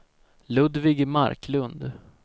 Ludvig Marklund